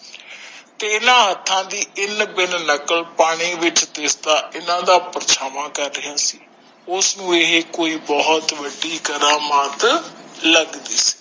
ਤੇ ਏਨਾ ਹਾਥ ਦੀ ਏਂ ਬਿਨ ਨਕਲ ਪਾਣੀ ਵਿਚ ਦਿਸਦਾ ਇਸਦਾ ਪ੍ਰਸ਼ਾਵਾਂ ਕਰ ਰਿਹਾ ਸੀ ਤੇ ਉਸਨੂੰ ਇਹ ਬਹੁਤ ਵਾਦੀ ਕਰਮਅਤ ਲੱਗ ਰਹੀ ਸੀ